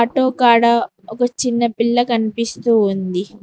Auto కాడ ఒక చిన్న పిల్ల కనిపిస్తూ ఉంది.